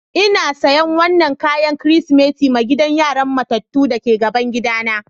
N'na sayan wanan kayan kristimeti ma gidan yaran matatu da ke gaban gida na.